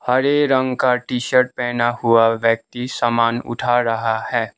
हरे रंग का T shirt पहेना हुआ व्यक्ति समान उठा रहा है।